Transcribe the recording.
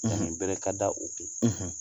ɲangini bere ka da u kun,